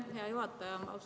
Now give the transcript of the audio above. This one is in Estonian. Aitäh, hea juhataja!